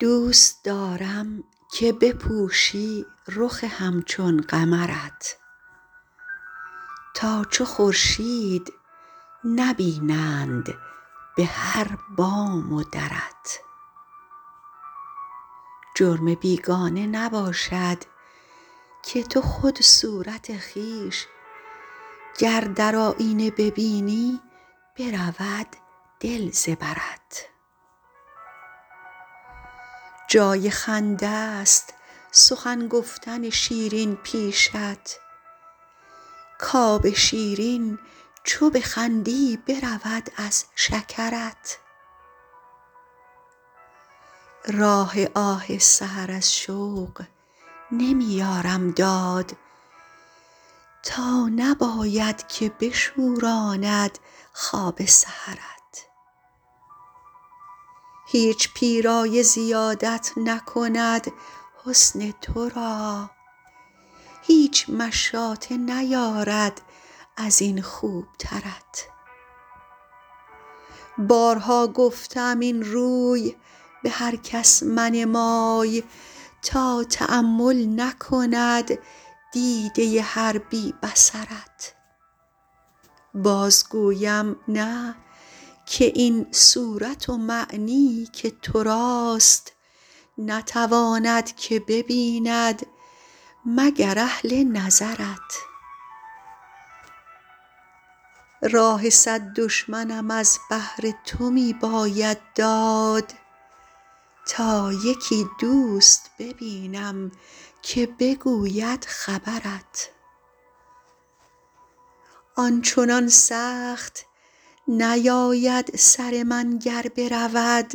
دوست دارم که بپوشی رخ همچون قمرت تا چو خورشید نبینند به هر بام و درت جرم بیگانه نباشد که تو خود صورت خویش گر در آیینه ببینی برود دل ز برت جای خنده ست سخن گفتن شیرین پیشت کآب شیرین چو بخندی برود از شکرت راه آه سحر از شوق نمی یارم داد تا نباید که بشوراند خواب سحرت هیچ پیرایه زیادت نکند حسن تو را هیچ مشاطه نیاراید از این خوبترت بارها گفته ام این روی به هر کس منمای تا تأمل نکند دیده هر بی بصرت باز گویم نه که این صورت و معنی که تو راست نتواند که ببیند مگر اهل نظرت راه صد دشمنم از بهر تو می باید داد تا یکی دوست ببینم که بگوید خبرت آن چنان سخت نیاید سر من گر برود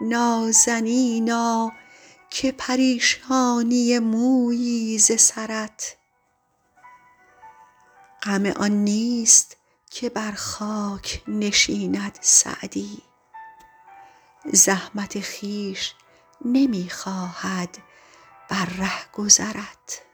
نازنینا که پریشانی مویی ز سرت غم آن نیست که بر خاک نشیند سعدی زحمت خویش نمی خواهد بر رهگذرت